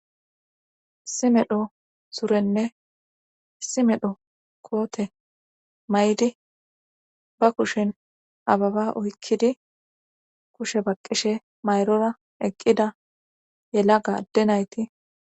simedho surenne simedho koote may7di ba kushin ababa oykkidi kushe baqqishe mayrora eqqida yela gadde nayti